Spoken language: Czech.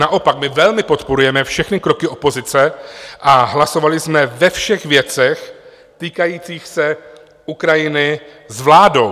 Naopak, my velmi podporujeme všechny kroky opozice (?) a hlasovali jsme ve všech věcech týkajících se Ukrajiny s vládou.